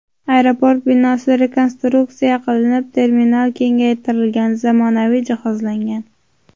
Aeroport binosi rekonstruksiya qilinib, terminal kengaytirilgan, zamonaviy jihozlangan.